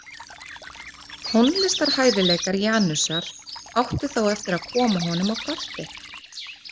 Tónlistarhæfileikar Janusar áttu þó eftir að koma honum á kortið.